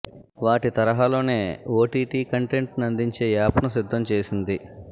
వాటి తరహాలోనే OTT content ను అందించే యాప్ ను సిద్ధం చేసింది